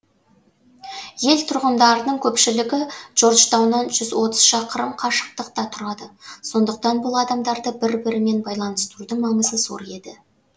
ел тұрғындарының көпшілігі джорджтауннан жүз отыз шақырым қашықтықта тұрады сондықтан бұл адамдарды бір бірімен байланыстырудың маңызы зор еді